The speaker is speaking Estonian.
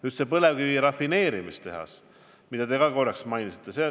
Nüüd, see põlevkiviõli rafineerimise tehas, mida te ka mainisite.